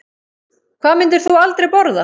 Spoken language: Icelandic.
Hvað myndir þú aldrei borða?